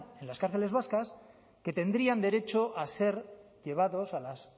en las cárceles vascas que tendrían derecho a ser llevados a las